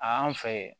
A y'an fɛ yen